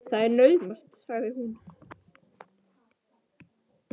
Það er naumast sagði hún svo.